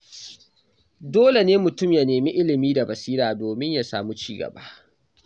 Dole ne mutum ya nemi ilimi da basira domin ya samu ci gaba.